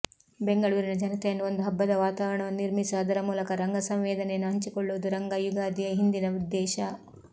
ಬೆಂಗಳೂರಿನ ಜನತೆಯನ್ನು ಒಂದು ಹಬ್ಬದ ವಾತಾವರಣವನ್ನು ನಿರ್ಮಿಸಿ ಅದರ ಮೂಲಕ ರಂಗ ಸಂವೇದನೆಯನ್ನು ಹಂಚಿಕೊಳ್ಳುವುದು ರಂಗ ಯುಗಾದಿಯ ಹಿಂದಿನ ಉದ್ದೇಶ